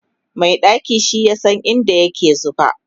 Mai ɗaki shi yasa in da yake zuba